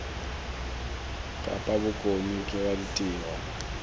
kapa bokone ke wa ditiro